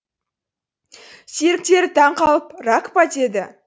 серіктері таң қалып рак па дейді